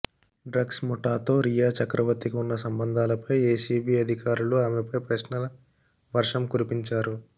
drugs ముఠాతో రియాచక్రవర్తికి ఉన్న సంబంధాలపై ఎన్సీబీ అధికారులు ఆమెపై ప్రశ్నల వర్షం కురిపించారు